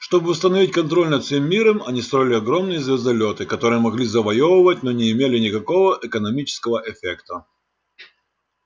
чтобы установить контроль над всем миром они строили огромные звездолёты которые могли завоёвывать но не имели никакого экономического эффекта